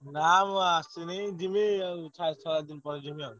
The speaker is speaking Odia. ନା ମୁଁ ଆସିନି ଯିବି ଛଅ ସାତକୁ ପଳେଇଯିବି ଆଉ।